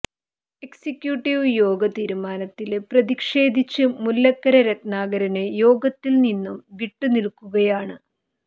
executive യോഗ തീരുമാനത്തില് പ്രതിഷേധിച്ച് മുല്ലക്കര രത്നാകരന് യോഗത്തില് നിന്നും വിട്ടുനില്ക്കുകയാണ്